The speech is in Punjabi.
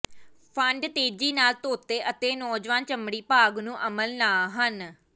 ਫੰਡ ਤੇਜ਼ੀ ਨਾਲ ਧੋਤੇ ਅਤੇ ਨੌਜਵਾਨ ਚਮੜੀ ਭਾਗ ਨੂੰ ਅਮਲ ਨਹ ਹਨ